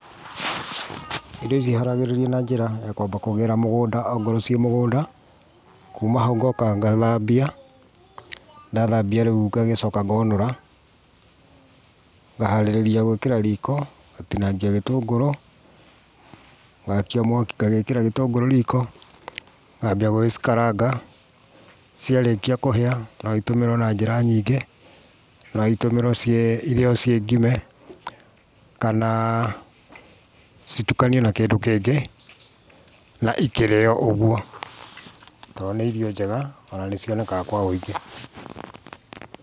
Irio ici iharagĩrĩrio na njĩra ya kwamba kũgĩra mũgũnda ongorwo ciĩ mũgũnda, kuma hau ngoka ngathambia, ndathambia rĩu ngagĩcoka ngonũra, ngaharĩrĩria gwĩkĩra riko, ngatinangia gĩtũngũrũ, ngakia mwaki ngagĩkĩra gĩtũngũrũ riko, ngambia gũgĩcikaranga, ciarĩkia kũhĩa no itũmĩrwo na njĩra nyingĩ, no itũmĩrwo irĩo ciĩ ngime, kana citukanio na kĩndũ kĩngĩ na ikĩrĩo ũguo, tondũ nĩ irio njega ona nĩ cionekaga kwa ũingĩ.